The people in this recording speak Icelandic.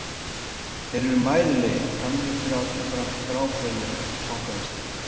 Þeir eru mæðulegir, gamlir fyrir aldur fram, gráfölir eftir fangavistina.